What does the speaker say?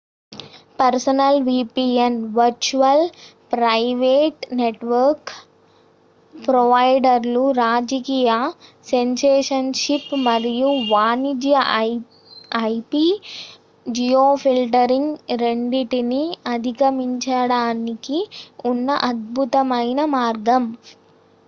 personal VPN virtual private network ప్రొవైడర్లు రాజకీయ censorship మరియు వాణిజ్య ఐపి జియోఫిల్టరింగ్ రెండింటిని అధిగమించడానికి ఉన్న అద్భుతమైన మార్గం